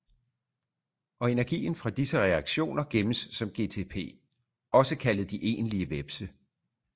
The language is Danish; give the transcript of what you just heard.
Og energien fra disse reaktioner gemmes som gtpOgså kaldet de egentlige hvepse